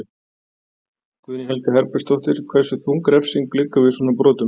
Guðný Helga Herbertsdóttir: Hversu þung refsing liggur við svona brotum?